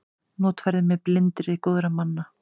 Notfærði mér blindni góðra manna.